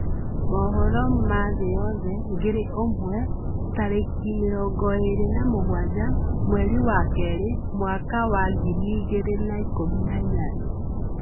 Mohoro ma thĩ yothe ngĩrĩ imwe tarĩkĩ 27 mwerĩ wa kerĩ mwaka wa 2018